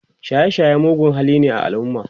shaye shaye mugun hali ne a alumma